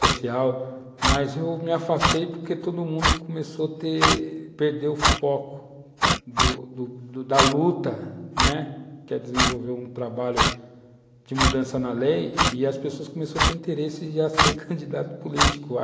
social, mas eu me afastei porque todo mundo começou a ter, perder o foco da luta, né, que é desenvolver um trabalho de mudança na lei, e as pessoas começaram a ter interesse em ser candidato político.